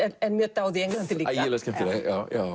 er mjög dáð í Englandi líka ægilega skemmtileg